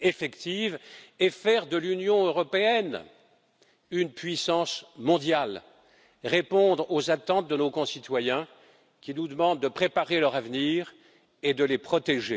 efficacité, faire de l'Union européenne, une puissance mondiale, et répondre aux attentes de nos concitoyens qui nous demandent de préparer leur avenir et de les protéger?